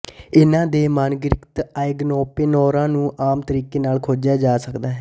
ਇਹਨਾਂ ਦੇ ਮਾਨਕੀਕ੍ਰਿਤ ਆਈਗਨਸਪਿੱਨੌਰਾਂ ਨੂੰ ਆਮ ਤਰੀਕੇ ਨਾਲ ਖੋਜਿਆ ਜਾ ਸਕਦਾ ਹੈ